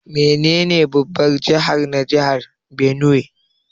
Menene babban jihar na jihar Benue?